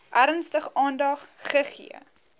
ernstig aandag gegee